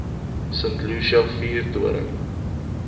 st lucia vuurtoring